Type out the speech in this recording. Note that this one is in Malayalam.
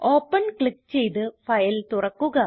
ഓപ്പൻ ക്ലിക്ക് ചെയ്ത് ഫയൽ തുറക്കുക